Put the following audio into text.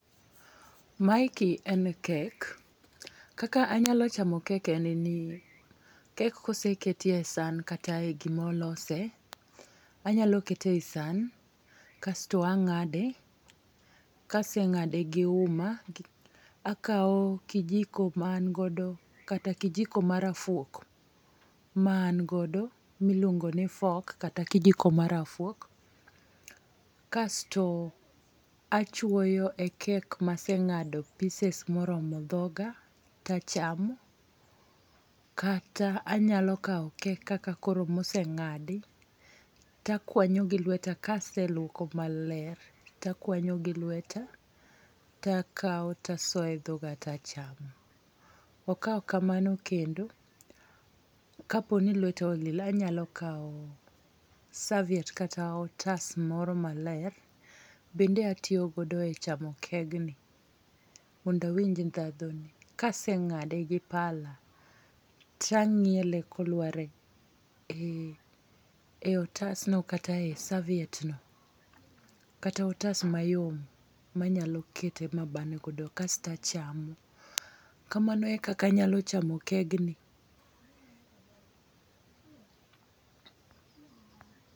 Maeki en kek. Kaka anyalo chamo kek en ni, kek kose ketie san kata e gima olose, anyalo kete e san, kasto angáde. Ka asengáde gi uma, to akao kijiko ma an godo, kata kijiko ma rafuok, ma an godo, miluongo ni fork kata kijiko ma rafuok. Kasto achwoyo e kek ma asengádo pieces ma oromo dhoga tachamo. Kata anyalo kawo kek kaka koro mosengádi, takwanyo gi lweta, ka aselwoko maler, to akwanyo gi lweta ta kao to asoe dhoga to achamo. To ka ok kamano kendo, ka po ni lweta olil, anyalo kawo serviette kata otas moro maler, bende atiyo godo e chamo kegni mondo awinj ndhadhu ne. Ka asengáde gi pala to anyiele kolware e otasno kata e serviette no, kata e otas mayom, ma anyalo kete, ma abane godo kasto achamo. Kamano e kaka nayalo chamo kegni.